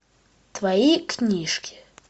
твои книжки